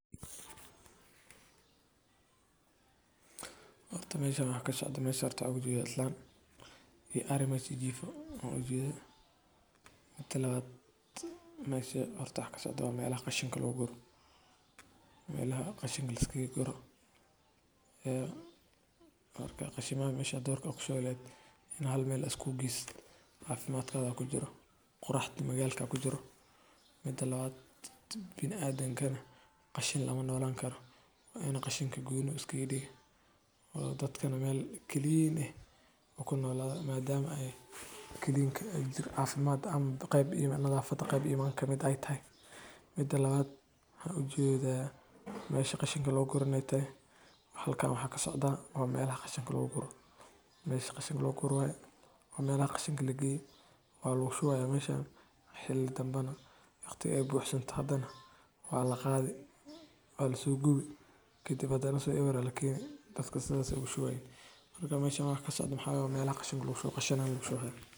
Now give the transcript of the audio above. Horta meesha waxaa ka socdo, meesha waxaan uga jeedaa islaan iyo ari meesha jiifto ayaan u jeedaa. Midda labaad, meesha waxaa ka socdaa waa meelaha qashinka lagu guro. Marka qashinka badalkii durka aad ku shubi laheyd inaad hal meel aad isku geysid, caafimaadkaaga ayuu ku jiraa, quruxda magaalada ku jirtaa. Midda kalena, bini’aadamka qashin lama noolaankaro. Waa inay qashinka meel gooni ah iska dhigaan oo dadka meel nadiif ah ku noolaadaan. Maadaama nadiifnimadu ugu jirto caafimaadka ama nadaafadda, qeyb iminka kamid ah ay tahay. Midda labaad waxaan uga jeedaa in meelaha qashinka lagu guro inay tahay halkaas. Waxaa ka socdaa waa meelaha qashinka lagu guro, waa meelaha qashinka la geeyo oo lagu shubayo. Meeshaan xilli dambena marka ay buuxsanto waa la qodi, waa la soo gubi, kadibna asagoo abuur ah ayaa la keenaa. Dadkuna sidaas ayay ugu shubayaan. Marka meeshaan waxa ka socdo maxaa weeye? Waa meelaha qashinka lagu shubo.